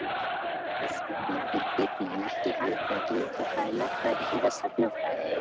Þess vegna er Biblían ekki handbók í náttúrufræði, lögfræði eða sagnfræði.